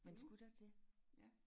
Men skulle der det?